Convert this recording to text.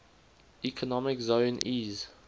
economic zone eez